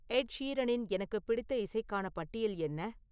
எட் ஷீரனின் எனக்குப் பிடித்த இசைக்கான பட்டியல் என்ன